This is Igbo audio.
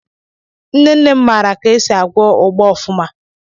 Nnenne m maara ka esi agwọ ụgbá ofuma.